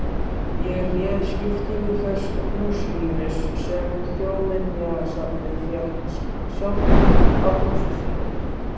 Ég réð skiptingu þess húsrýmis sem Þjóðminjasafnið fékk sjálft af húsi sínu.